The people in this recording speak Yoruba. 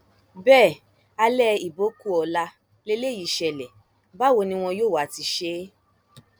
bẹẹ alẹ ibo kù ọla lélẹyìí ṣẹlẹ báwo ni wọn yóò wáá ti ṣe é